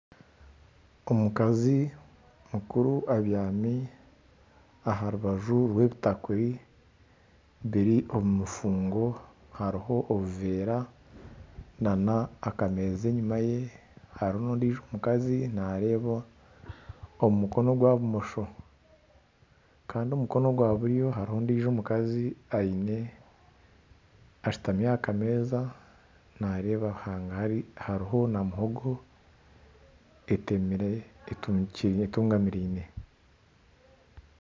Omukazi mukuru abyami aha rubaju rw'ebitakuri biri omu mufungo hariho n'obuveera n'akameeza enyima ye. Hariho n'ondijo omukazi naareeba omu mukono gwa bumosho kandi omukono gwa buryo hariho ondijo omukazi aine ashutami aha kameeza naareeba hangahari hariho na muhogo etemire etungikire entungamiraine.